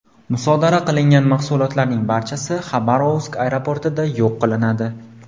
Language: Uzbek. Musodara qilingan mahsulotlarning barchasi Xabarovsk aeroportida yo‘q qilinadi.